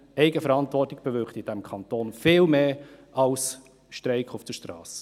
Eigenverantwortung bewirkt in diesem Kanton viel mehr als ein Streik auf der Strasse.